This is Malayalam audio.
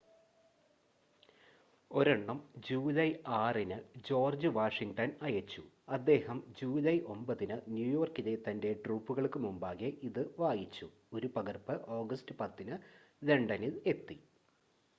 ഒരെണ്ണം ജൂലൈ 6-ന് ജോർജ്ജ് വാഷിംഗ്ടണ് അയച്ചു അദ്ദേഹം ജൂലൈ 9-ന് ന്യൂയോർക്കിലെ തൻ്റെ ട്രൂപ്പുകൾക്ക് മുമ്പാകെ ഇത് വായിച്ചു ഒരു പകർപ്പ് ഓഗസ്റ്റ് 10-ന് ലണ്ടനിൽ എത്തി